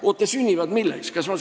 Oot, aga milleks?